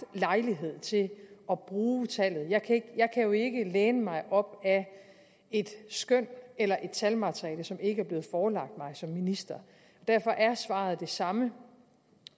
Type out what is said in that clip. lejlighed til at bruge tallet jeg kan jo ikke læne mig op ad et skøn eller et talmateriale som ikke blevet forelagt mig som minister derfor er svaret det samme